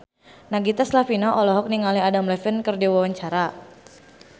Nagita Slavina olohok ningali Adam Levine keur diwawancara